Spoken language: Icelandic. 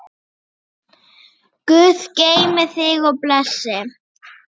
Guð geymi þig og blessi.